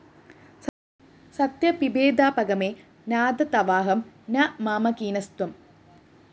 സത്യപിഭേദാപഗമേ നാഥ തവാഹം ന മാമകീനസ്ത്വം